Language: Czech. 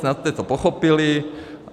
Snad jste to pochopili.